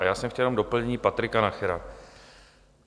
A já jsem chtěl jenom doplnit Patrika Nachera.